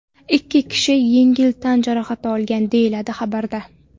Ikki kishi yengil tan jarohati olgan”, deyiladi xabarda.